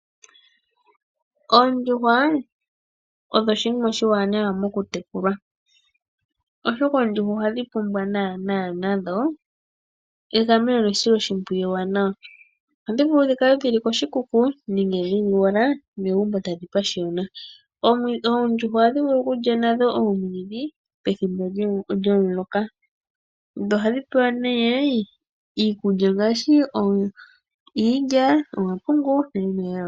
Oondjuhwa odho oshinima oshiwanawa mokutekulwa. Oshoka oondjuhwa ohadhi pumbwa naanaa nadho egameno nesiloshimpwiyu ewanawa. Ohadhi vulu dhi kale dhili koshikuku nenge dhili owala megumbo tadhi pashiyona. Oondjuhwa ohadhi vulu okulya nadho omwiidhi pethimbo lyomuloka. Dho ohadhi pewa iikulya ngaashi iilya, nomapungu.